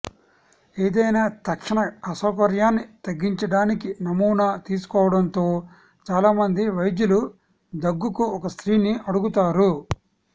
ఏదైనా తక్షణ అసౌకర్యాన్ని తగ్గించడానికి నమూనా తీసుకోవడంతో చాలామంది వైద్యులు దగ్గుకు ఒక స్త్రీని అడుగుతారు